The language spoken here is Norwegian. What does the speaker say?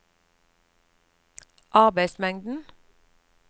arbeidsmengden